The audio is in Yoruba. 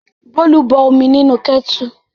Bólú bọ omi nínú kẹ́tù.